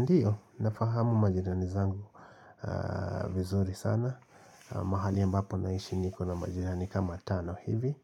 Ndiyo, nafahamu majirani zangu vizuri sana. Mahali ambapo naishi niko na majirani kama tano hivi.